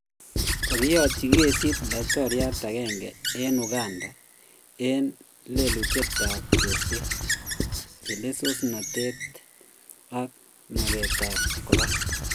Kogeyotyi kesit laitoriat agenge en uganda en lelutietap chorset, Chelelsosnatet ag maget ap kopar.